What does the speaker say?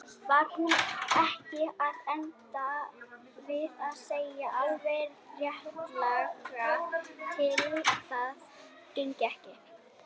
Var hún ekki að enda við að segja alveg réttilega að það gengi ekki?